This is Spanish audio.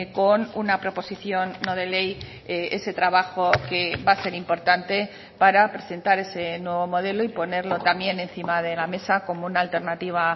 con una proposición no de ley ese trabajo que va a ser importante para presentar ese nuevo modelo y ponerlo también encima de la mesa como una alternativa